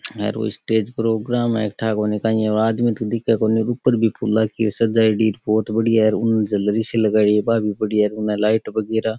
हेर ओ stage programme है ठा कोनी काई है ओ आदमी तो दिखे कोनी ऊपर भी फूल की सजायेड़ी बहुत बढ़िया है और उन् झलरी सी लगायेडी है बा भी बढ़िया है उन लाइट वगेरा।